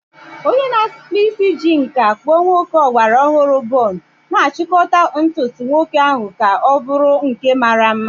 Onye na-akpụ isi ji nkà kpụọ nwoke ọgbara ọhụrụ bun, na-achịkọta ntutu nwoke ahụ ka ọ bụrụ nke mara mma.